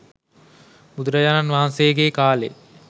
බුදුරජාණන් වහන්සේගේකාලේ